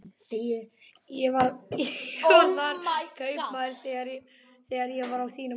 Ég var þar kaupmaður þegar ég var á þínum aldri.